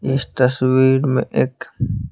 इस तस्वीर में एक --